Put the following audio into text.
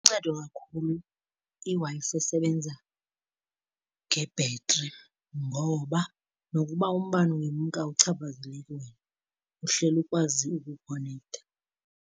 Iluncedo kakhulu iWi-Fi esebenza ngebhetri ngoba nokuba umbane ungemka awikuchaphazeli wena, uhleli ukwazi ukukhonektha.